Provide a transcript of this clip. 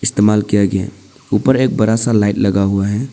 इस्तेमाल किया गया ऊपर एक बड़ा सा लाइट लगा हुआ है।